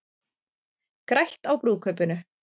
Grætt á brúðkaupinu